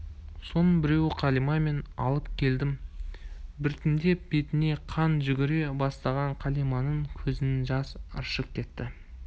соның біреуі қалима мен алып келдім біртіндеп бетіне қан жүгіре бастаған қалиманың көзінен жас ыршып кетті